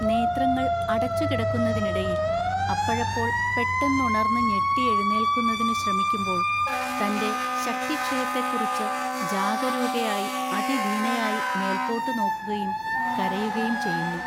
നേത്രങ്ങൾ അടച്ചുകിടക്കുന്നതിനിടയിൽ അപ്പഴപ്പോൾ പെട്ടെന്നുണർന്നു ഞെട്ടി എഴുന്നേൽക്കുന്നതിനു ശ്രമിക്കുമ്പോൾ തന്റെ ശക്തിക്ഷയത്തെക്കുറിച്ച് ജാഗരൂകയായി അതിദീനയായി മേൽപോട്ടു നോക്കുകയും കരയുകയും ചെയ്യുന്നു.